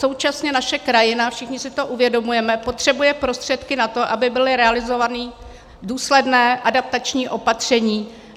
Současně naše krajina, všichni si to uvědomujeme, potřebuje prostředky na to, aby byla realizována důsledná adaptační opatření.